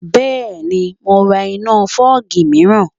Bẹ́ẹ̀ni, mo ra iná fọ́ọ̀gì míìràn